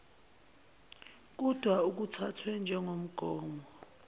kudwa akuthathwe njengomgomo